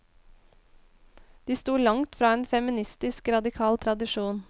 De sto langt fra en feministisk radikal tradisjon.